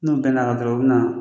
N'o bɛ n'a dɔrɔn, o bɛna